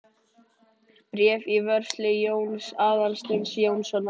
Bréf í vörslu Jóns Aðalsteins Jónssonar.